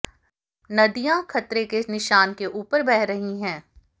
नदियां खतरे के निशान के ऊपर बह रही है